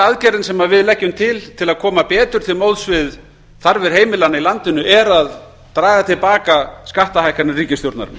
aðgerðirnar sem við leggjum til til að koma betur til móts við þarfir heimilanna í landinu er að draga til baka skattahækkanir ríkisstjórnarinnar